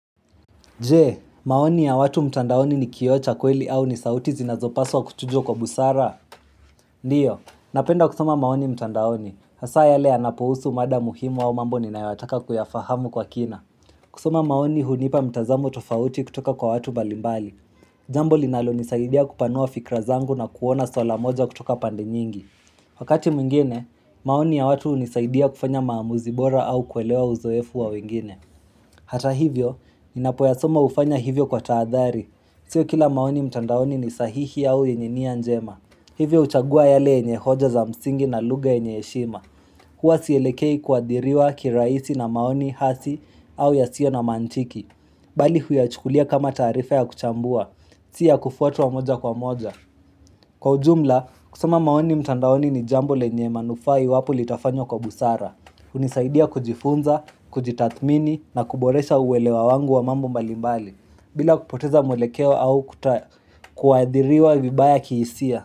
Jee, maoni ya watu mtandaoni ni kiocha kweli au ni sauti zinazopaswa kutujo kwa busara? Ndiyo, napenda kusoma maoni mtandaoni. Hasa ya le anapuhusu mada muhimu au mambo ni naiwataka kuyafahamu kwa kina. Kusoma maoni hunipa mtazamu tofauti kutoka kwa watu balimbali. Jambo linalo nisaidia kupanua fikra zangu na kuona sola moja kutoka pande nyingi. Wakati mwingine, maoni ya watu nisaidia kufanya maamuzibora au kuelewa uzoefu wa wengine. Hata hivyo, inapoyasoma hufanya hivyo kwa taadhari Sio kila maoni mtandaoni ni sahihi au yenienia njema Hivyo uchagua yale enye hoja za msingi na lugha enye eshima Kwa siyelekei kuadiriwa kiraisi na maoni hasi au ya sio na mantiki Bali huyachukulia kama tarifa ya kuchambua Sia kufuatu wa moja kwa moja Kwa ujumla, kusoma maoni mtandaoni ni jambo lenye manufai iwapo litafanyo kwa busara unisaidia kujifunza, kujitathmini na kuboresha uwelewa wangu wa mambo mbalimbali bila kupoteza mwelekeo au kuadhiriwa vibaya kiisia.